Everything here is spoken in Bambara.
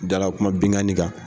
Dala kuma binkanni kan.